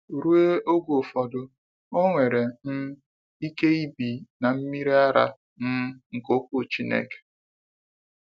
Ruo oge ụfọdụ, o nwere um ike ibi n’mmịrị ara um nke okwu Chineke.